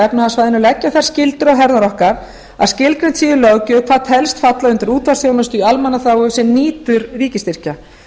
efnahagssvæðinu leggja þær skyldur á herðar okkar að skilgreint sé í löggjöf hvað telst falla undir útvarpsþjónustu í almannaþágu sem nýtur ríkisstyrkja